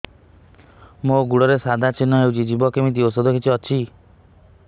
ମୋ ଗୁଡ଼ରେ ସାଧା ଚିହ୍ନ ହେଇଚି ଯିବ କେମିତି ଔଷଧ କିଛି ଅଛି